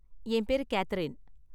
என் பேரு கேத்தரின்.